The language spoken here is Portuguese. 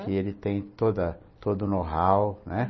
Que ele tem toda todo o know-how, né?